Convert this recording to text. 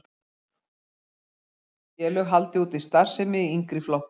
Úthlutun er háð því að félög haldi úti starfsemi í yngri flokkum.